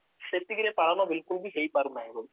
ସେତିକିରେ ପାଳନ ବିଲକୁଲ ହେଇ ପାରୁନାହିଁ ବୋଲି